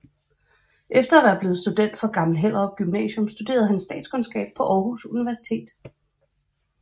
Efter at være blevet student fra Gammel Hellerup Gymnasium studerede han statskundskab på Aarhus Universitet